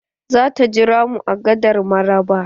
Zata jira mu a gadar mararaba.